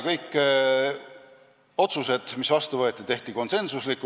Kõik otsused, mis vastu võeti, tehti konsensusega.